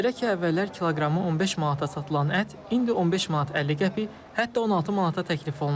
Belə ki, əvvəllər kiloqramı 15 manata satılan ət indi 15 manat 50 qəpik, hətta 16 manata təklif olunur.